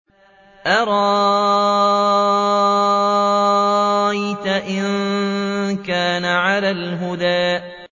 أَرَأَيْتَ إِن كَانَ عَلَى الْهُدَىٰ